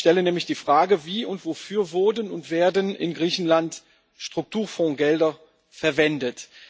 Ich stelle nämlich die Frage Wie und wofür wurden und werden in Griechenland Strukturfondsgelder verwendet?